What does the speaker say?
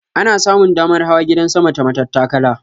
Ana samun damar hawa gidan sama ta matattakala.